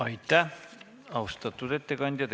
Aitäh, austatud ettekandja!